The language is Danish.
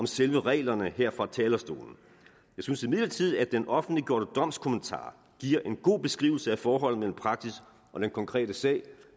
selve reglerne her fra talerstolen jeg synes imidlertid at den offentliggjorte domskommentar giver en god beskrivelse af forholdene mellem praksis og den konkrete sag